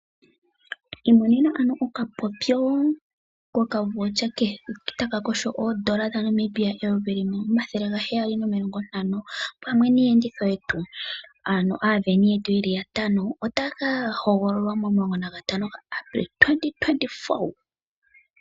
Imo nena ano okapopyo ko kavoucher keli taka kosho N$1 750 pamwe niiyenditho yetu ano aaveni yeli yatano otaya kahogololwa mo 15 Apilili 2024.